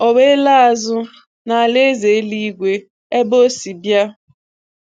O wee laa azụ n’alaeze eluigwe ebe Ọ si bịa.